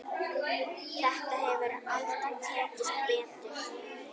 Þetta hefur aldrei tekist betur.